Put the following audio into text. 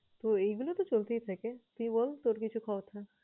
তো এইগুলো তো চলতেই থাকে। তুই বল তোর কিছু কথা?